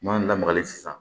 N'an lamagali san